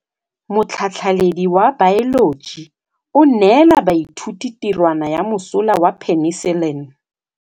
Motlhatlhaledi wa baeloji o neela baithuti tirwana ya mosola wa peniselene.